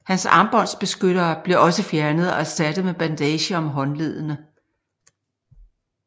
Hans armbånds beskyttere blev også fjernet og erstattet med bandager om håndledene